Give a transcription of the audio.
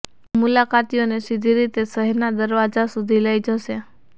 તે મુલાકાતીઓને સીધી રીતે શહેરના દરવાજા સુધી લઈ જશે